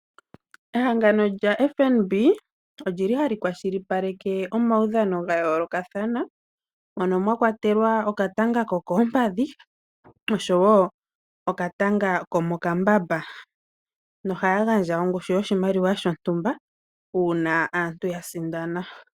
Ehangano lyaFNB olyi li hali kwashilipaleke omaudhano gayoolokathana mono mwakwatelwa okatanga kokoompadhi oshowoo okatanga komokambamba . Ohaya gandja ongushu yoshimaliwa shontumba uuna aantu ya sindana.